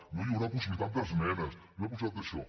no hi haurà possibilitat d’esmenes no hi haurà possibilitat d’això